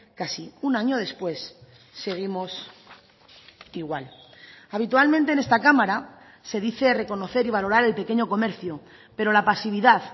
casi un año después seguimos igual habitualmente en esta cámara se dice reconocer y valorar el pequeño comercio pero la pasividad